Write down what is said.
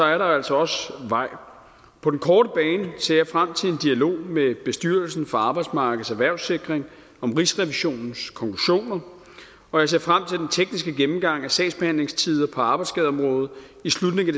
er der altså også vej på den korte bane ser jeg frem til en dialog med bestyrelsen for arbejdsmarkedets erhvervssikring om rigsrevisionens konklusioner og jeg ser frem til den tekniske gennemgang af sagsbehandlingstider på arbejdsskadeområdet i slutningen